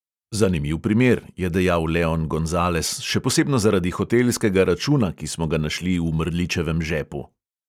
Zanimiv primer, je dejal leon gonzales, še posebno zaradi hotelskega računa, ki smo ga našli v mrličevem žepu.